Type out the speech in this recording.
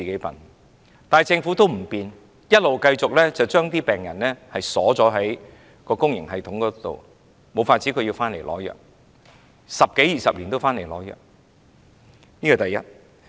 但是，政府不改變，繼續將病人鎖在公營系統內，他們唯有回來取藥，十多二十年如是，這是第一點。